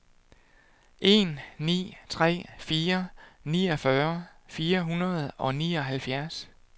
en ni tre fire niogfyrre fire hundrede og nioghalvfjerds